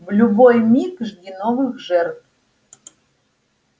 в любой миг жди новых жертв